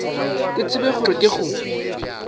ke tsebe gore ke go